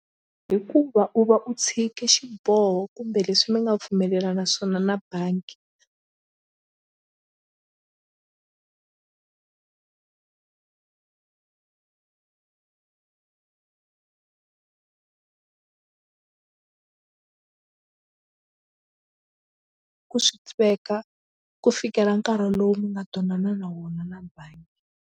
Hikuva u va u tshike xiboho kumbe leswi mi nga pfumelelana na swona na bangi ku sweka ku fikela nkarhi lowu mi nga twanana na wona na bangi.